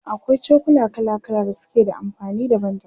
akwai cokula kala kala da suke da amfani daban daban